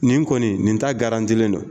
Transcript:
Nin kɔni nin taa garantilen don.